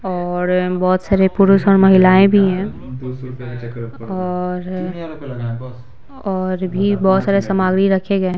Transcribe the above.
और बहुत सारे पुरुष और महिलाएं भी हैं और और भी बहुत सारे सामग्री रखे गए है--